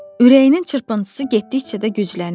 Ürəyinin çırpıntısı getdikcə də güclənirdi.